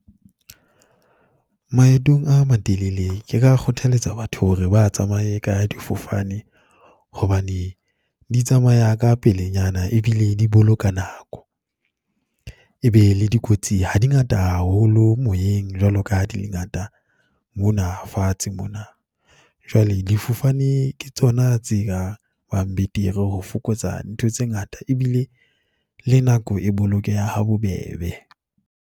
Maetong a matelele ke ka kgothaletsa batho hore ba tsamaye ka difofane hobane di tsamaya ka pelenyana, e bile di boloka nako. E be le dikotsi ha di ngata haholo moyeng jwalo ka ha di le ngata mona fatshe mona. Jwale difofane ke tsona tse ka bang betere, ho fokotsa ntho tse ngata e bile le nako e bolokeha ha bobebe.